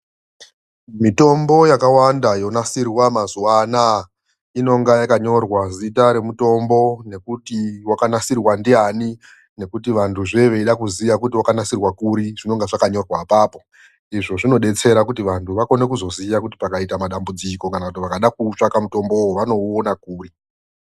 Mitombo yakawanda yonasirwa mazuwanaa inonga yakanyorwa zita remutombo nekuti wakanasirwa ndiani nekuti vanhu zvee veida kuziya kuti wakanasirwa kuri zvinonga zvakanyorwa apapo. Izvo zvinodetsera kuti vanhu vakone kuzoziya kuti pakaita madambudziko kana kuti vakada kuutsvaga mutombo uyu vanouona kuri.